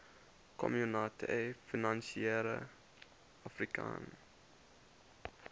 communaute financiere africaine